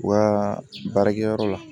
U ka baarakɛyɔrɔ la